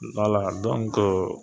Balaa